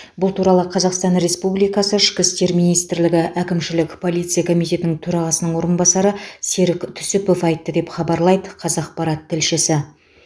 бұл туралы қазақстан республикасы ішкі істер министрлігі әкімшілік полиция комитетінің төрағасының орынбасары серік түсіпов айтты деп хабарлайды қазақпарат тілшісі